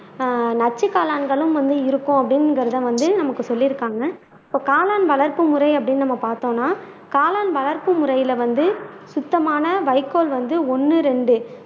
நச்சு காளான்களும் வந்து இருக்கும் அப்படிங்கறது வந்து நமக்கு சொல்லி இருக்காங்க இப்ப காளான் வளர்ப்பு முறை அப்படின்னு நம்ம பார்த்தோம்னா காளான் வளர்ப்பு முறையில வந்து சுத்தமான வைக்கோல் வந்து ஒன்னு ரெண்டு